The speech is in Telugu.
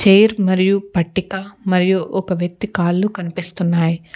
చైర్ మరియు పట్టిత మరియు ఒక వ్యక్తి కాళ్లు కనిపిస్తున్నాయి.